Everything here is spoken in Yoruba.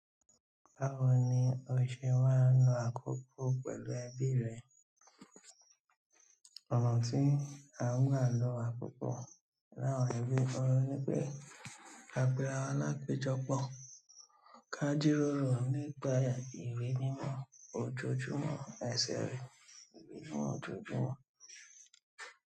Báwo ni o ṣe máa ń lo àkókò pẹ̀lú ẹbi rẹ? Ọ̀nà tí a ń gbà ló àkókò láàárín ẹbí òhùn ni pé ka pè rawa lápejọ pọ̀. Káji ròrò nípa ìwé nínú ojoojúmọ́ ẹsẹ̀ rẹ. Ìwé nínú ojoojúmọ́.